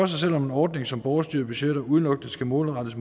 sig selv om en ordning som borgerstyrede budgetter udelukkende skal målrettes